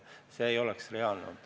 See ei oleks reaalne olnud.